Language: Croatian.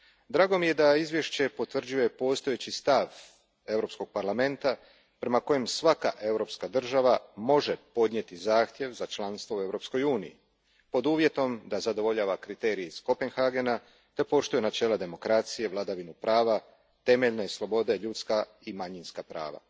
Drago mi je da izvješće potvrđuje postojeći stav Europskog parlamenta prema kojem svaka europska država može podnijeti zahtjev za članstvo u Europskoj uniji, pod uvjetom da zadovoljava kriterije iz Kopenhagena te poštuje načela demokracije, vladavinu prava, temeljne slobode, ljudska i manjinska prava.